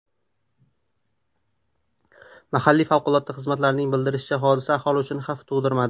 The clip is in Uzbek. Mahalliy favqulodda xizmatlarning bildirishicha, hodisa aholi uchun xavf tug‘dirmadi.